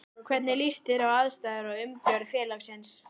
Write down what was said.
Hvernig líst þér á aðstæður og umgjörð félagsins?